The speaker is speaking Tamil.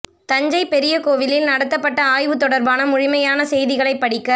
தஞ்சை பெரிய கோவிலில் நடத்தப்பட்ட ஆய்வு தொடர்பான முழுமையான செய்திகளைப் படிக்க